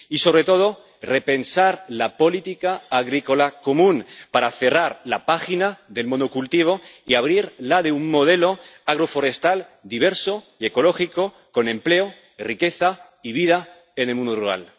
y, sobre todo, repensar la política agrícola común para cerrar la página del monocultivo y abrir la de un modelo agroforestal diverso y ecológico, con empleo, riqueza y vida en el mundo rural.